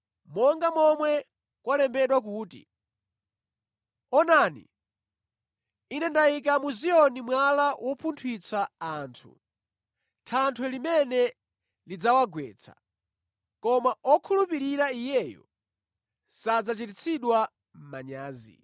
Monga momwe kwalembedwa kuti, “Taonani, Ine ndikuyika mwala mu Ziyoni wopunthwitsa anthu, thanthwe limene limagwetsa anthu. Koma amene akhulupirira Iye sadzachititsidwa manyazi.”